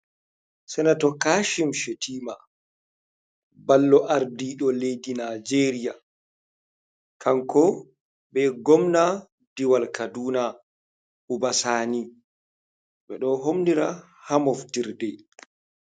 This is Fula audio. Senato kashim shetima, ɓallo ardiɗo lei'di nijeria kanko be gomna diwal kaduna, ubasani ɓedo homnira hamoftirɗe.